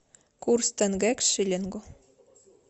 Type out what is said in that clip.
курс тенге к шиллингу